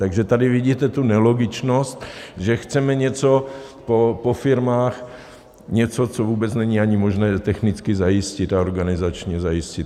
Takže tady vidíte tu nelogičnost, že chceme něco po firmách, něco, co vůbec není ani možné technicky zajistit a organizačně zajistit.